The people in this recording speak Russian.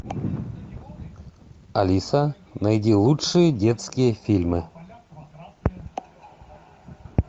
алиса найди лучшие детские фильмы